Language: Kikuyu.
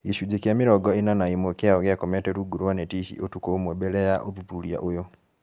Gĩcunjĩ kĩa mĩrongo ĩna na ĩmwe kĩao gĩakomete rungu rwa neti ici ũtukũ ũmwe mbele ya ũthuthuria ũyũ